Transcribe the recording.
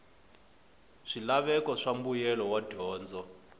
swilaveko swa mbuyelo wa dyondzo